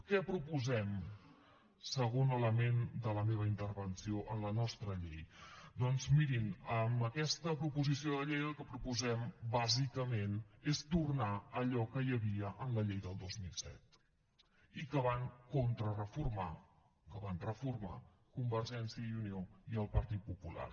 què proposem segon element de la meva intervenció en la nostra llei doncs mirin amb aquesta proposició de llei el que proposem bàsicament és tornar a allò que hi havia en la llei del dos mil set i que van contrareformar que van reformar convergència i unió i el partit popular